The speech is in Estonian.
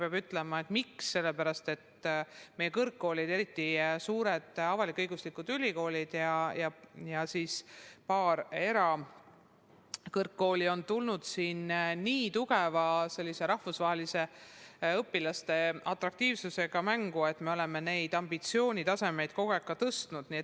Peab ütlema, et seda on tehtud sellepärast, et meie kõrgkoolid, eriti suured avalik-õiguslikud ülikoolid ja paar erakõrgkooli, on tulnud siin mängu niivõrd tugeva rahvusvahelise õpilastele suunatud atraktiivsusega, et oleme neid ambitsioonitasemeid kogu aeg tõstnud.